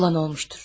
Olan olubdur.